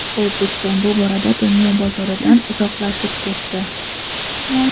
O‘zbekiston bu borada dunyo bozoridan uzoqlashib ketdi.